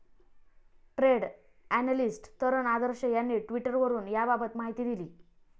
Trade analyst Taran Adarsh यांनी ट्विटवरुन याबाबत माहिती दिली.